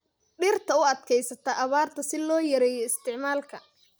Dhirta u adkeysata abaarta si loo yareeyo isticmaalka.